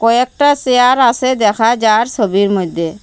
কয়েকটা সেয়ার আসে দেখা যার সোবির মদ্যে ।